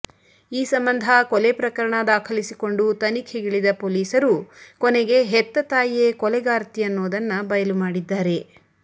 ಈ ಸಂಬಂಧ ಕೊಲೆ ಪ್ರಕರಣ ದಾಖಲಿಸಿಕೊಂಡು ತನಿಖೆಗಿಳಿದ ಪೊಲೀಸರು ಕೊನೆಗೆ ಹೆತ್ತ ತಾಯಿಯೇ ಕೊಲೆಗಾರ್ತಿ ಅನ್ನೋದನ್ನ ಬಯಲು ಮಾಡಿದ್ದಾರೆ